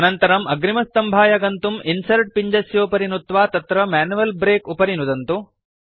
अनन्तरम् अग्रिमसम्भाय गन्तुं इन्सर्ट् पिञ्जस्योपरि नुत्वा तत्र मैन्युअल् ब्रेक उपरि नुदन्तु